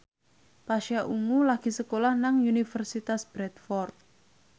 Pasha Ungu lagi sekolah nang Universitas Bradford